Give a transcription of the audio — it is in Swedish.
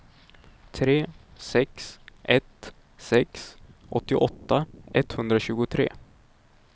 tre sex ett sex åttioåtta etthundratjugotre